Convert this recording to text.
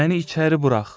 Məni içəri burax.